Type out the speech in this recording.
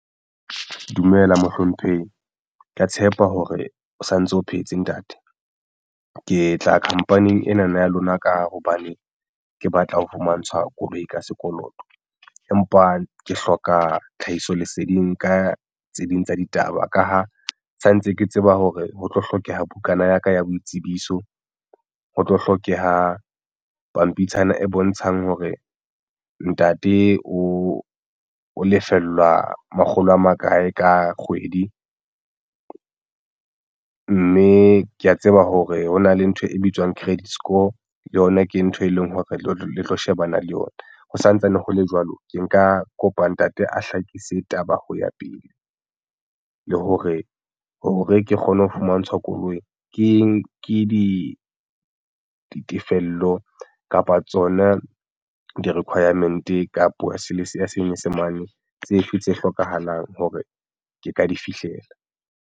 Dumela mohlomphehi, ke ya tshepa hore o santse o phehetse ntate ke tla khampaning ena na ya lona ka hobane ke batla ho fumantshwa koloi ka sekoloto, empa ke hloka tlhahisoleseding ka tse ding tsa ditaba ka ha santse ke tseba hore ho tlo hlokeha bukana ya ka ya boitsebiso ho tlo hlokeha pampitshana e bontshang hore ntate o lefellwa makgolo a makae ka kgwedi mme ke ya tseba hore hona le ntho e bitswang credit score le yona ke ntho e leng hore le tlo shebana le yona. Ho santsane ho le jwalo ke nka kopa ntate a hlakise taba ho ya pele le hore hore ke kgone ho fumantshwa koloi ke eng ke ditefello kapa tsona di-requirement ka puo ya Senyesemane tsefe tse hlokahalang hore ke ka di fihlela?